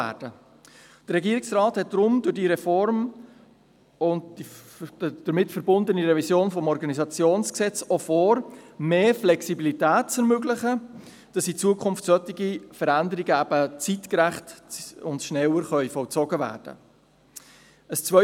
Der Regierungsrat hat deshalb durch diese Reform und die damit verbundene Revision des Organisationsgesetzes auch vor, mehr Flexibilität zu ermöglichen, sodass in Zukunft solche Veränderungen zeitgerecht und rascher vollzogen werden können.